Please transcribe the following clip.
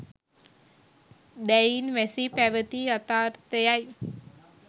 දැයින් වැසී පැවති යථාර්ථය යි